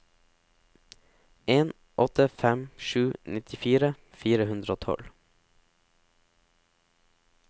en åtte fem sju nittifire fire hundre og tolv